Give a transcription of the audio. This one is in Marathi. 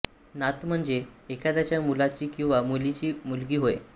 नात म्हणजे एखाद्याच्या मुलाची किंवा मुलीची मुलगी होय